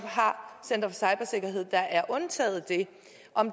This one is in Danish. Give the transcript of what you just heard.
har center for cybersikkerhed der er undtaget det